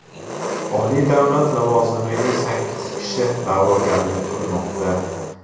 Oliy davlat lavozimiga sakkiz kishi da’vogarlik qilmoqda.